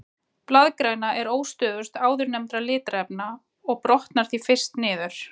Blaðgræna er óstöðugust áðurnefndra litarefna og brotnar því fyrst niður.